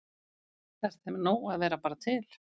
Er þeim nóg að vera bara til?